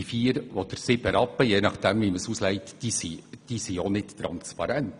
Diese vier oder sieben Rappen, je nach Auslegung, sind auch nicht transparent.